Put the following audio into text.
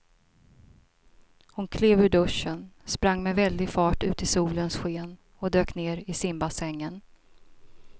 Hon klev ur duschen, sprang med väldig fart ut i solens sken och dök ner i simbassängen.